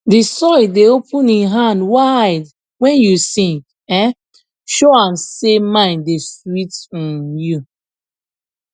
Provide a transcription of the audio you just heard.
the soil dey open im hand wide when you sing um show am say mind da sweet um you